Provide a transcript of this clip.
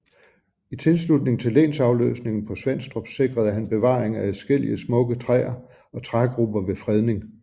I tilslutning til lensafløsningen på Svenstrup sikrede han bevaring af adskillige smukke træer og trægrupper ved fredning